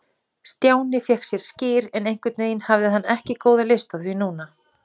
Stjáni fékk sér skyr, en einhvern veginn hafði hann ekki góða lyst á því núna.